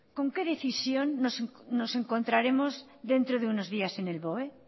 con qué decisión nos encontraremos dentro de unos días en el boe